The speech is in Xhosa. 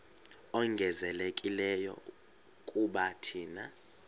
ongezelelekileyo kuba thina